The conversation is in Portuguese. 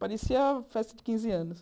Parecia festa de quinze anos.